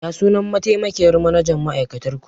Ya sunan mataimakiyyar manajan ma'aikatar ku?